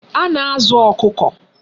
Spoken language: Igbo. A na-azu Okuko